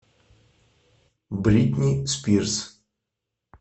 бритни спирс